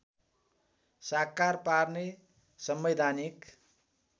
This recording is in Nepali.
साकार पार्ने संवैधानिक